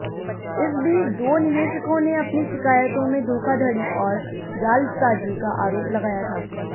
इस बीच दो निवेशकों ने अपनी शिकायतों में धोखाधड़ी और जालसाजी का आरोप लगाया था